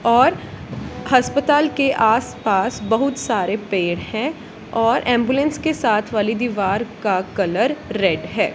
और हस्पताल के आस पास बहुत सारे पेड़ है और एंबुलेंस के साथ वाली दीवार का कलर रेड है।